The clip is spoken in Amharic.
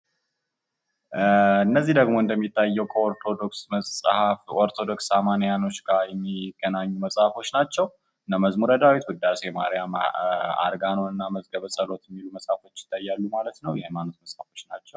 እነዚህ ደግሞ እንደሚታየው ከኦርቶዶክስ መሀፍ ኦርቶዶክስ አማንያን ጋር የሚገናኙ መጽሐፎች ናቸው። እነመዝሙረ ዳዊት፣ ውዳሴ ማርያም፣ አርጋኖና መዝገበ ፀሎት ይታያሉ ማለት ነው። የሃይማኖት መጻፎች ናቸው።